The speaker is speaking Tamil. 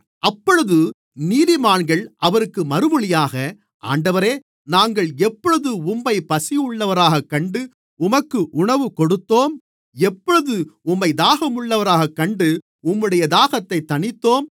அப்பொழுது நீதிமான்கள் அவருக்கு மறுமொழியாக ஆண்டவரே நாங்கள் எப்பொழுது உம்மைப் பசியுள்ளவராகக் கண்டு உமக்கு உணவு கொடுத்தோம் எப்பொழுது உம்மைத் தாகமுள்ளவராகக் கண்டு உம்முடைய தாகத்தைத் தணித்தோம்